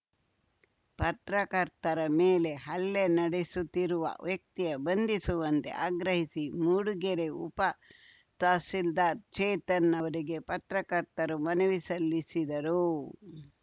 ಪತ್ರಕರ್ತರ ಮೇಲೆ ಹಲ್ಲೆ ನಡೆಸುತ್ತಿರುವ ವ್ಯಕ್ತಿಯನ್ನು ಬಂಧಿಸುವಂತೆ ಆಗ್ರಹಿಸಿ ಮೂಡುಗೆರೆ ಉಪ ತಹಶೀಲ್ದಾರ್‌ ಚೇತನ್‌ ಅವರಿಗೆ ಪತ್ರಕರ್ತರು ಮನವಿ ಸಲ್ಲಿಸಿದರು